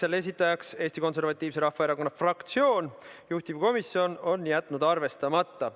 Selle on esitanud Eesti Konservatiivse Rahvaerakonna fraktsioon, juhtivkomisjon on jätnud selle arvestamata.